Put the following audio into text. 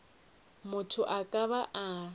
motho a ka ba a